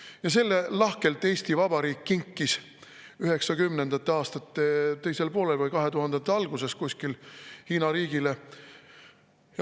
Ja selle kinkis Eesti Vabariik lahkelt 1990. aastate teisel poolel või 2000-ndate alguses Hiina riigile.